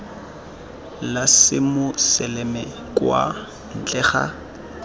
la semoseleme kwa ntle ga